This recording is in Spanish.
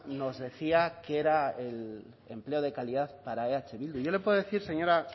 nos decía que era el empleo de calidad para eh bildu y yo le puedo decir señor